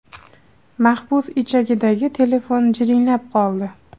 Maxbus ichagidagi telefon jiringlab qoldi.